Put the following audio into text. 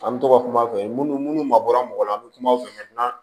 An bɛ to ka kuma u fɛ minnu mabɔra mɔgɔ la an bɛ kuma u fɛ